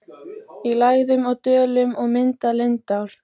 í lægðum og dölum og myndað lindár.